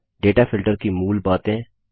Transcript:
data filter की मूल बातें